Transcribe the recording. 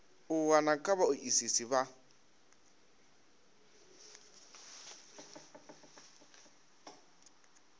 u wana kha vhaoisisi vha